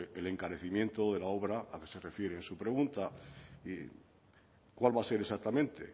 el encarecimiento de la obra a que se refiere su pregunta y cuál va a ser exactamente